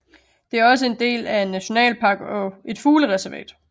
Det er også en del af en nationalpark og et fuglereservat